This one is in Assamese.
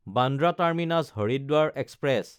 বান্দ্ৰা টাৰ্মিনাছ–হৰিদ্বাৰ এক্সপ্ৰেছ